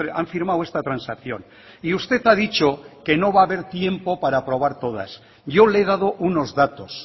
han firmado esta transacción y usted ha dicho que no va a haber tiempo para aprobar todas yo le he dado unos datos